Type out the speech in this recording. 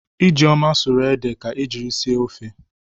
Ijeoma sụrụ ede a ga-eji sie ofe.